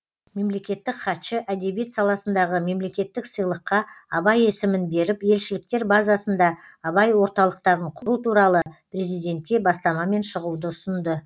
мемлекеттік хатшы әдебиет саласындағы мемлекеттік сыйлыққа абай есімін беріп елшіліктер базасында абай орталықтарын құру туралы президентке бастамамен шығуды ұсынды